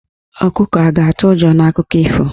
Ọkụkọ a ga-atụ ụjọ n'akụkọ ifo?